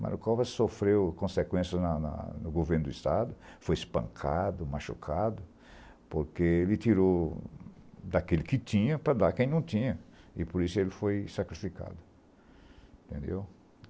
Mario covas sofreu consequências na na no governo do Estado, foi espancado, machucado, porque ele tirou daquele que tinha para dar à quem não tinha, e por isso ele foi sacrificado, entendeu?